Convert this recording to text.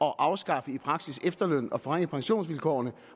at afskaffe efterlønnen og forringe pensionsvilkårene